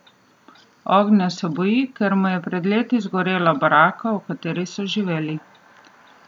Ognja se boji, ker mu je pred leti zgorela baraka, v kateri so živeli.